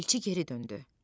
Elçi geri döndü.